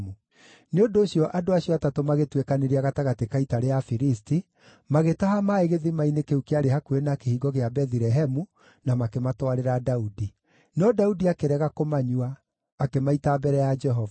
Nĩ ũndũ ũcio andũ acio atatũ magĩtuĩkanĩria gatagatĩ ka ita rĩa Afilisti, magĩtaha maaĩ gĩthima-inĩ kĩu kĩarĩ hakuhĩ na kĩhingo kĩa Bethilehemu, na makĩmatwarĩra Daudi. No Daudi akĩrega kũmanyua; akĩmaita mbere ya Jehova.